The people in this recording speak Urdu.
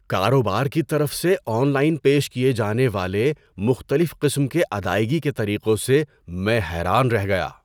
کاروبار کی طرف سے آن لائن پیش کیے جانے والے مختلف قسم کے ادائیگی کے طریقوں سے میں حیران رہ گیا۔